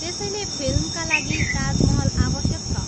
त्यसैले फिल्मका लागि ताजमहल आवश्यक छ।